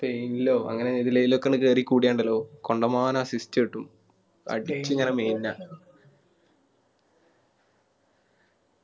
ഇല്ല അങ്ങനെ എതിലേലും ഒക്കെ ഒന്ന് കേറി കൂടിയ ഉണ്ടാലോ കണ്ടമാനം അടിച്ച്